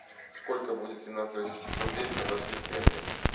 сколько будет семнадцать российских рублей в казахских тенге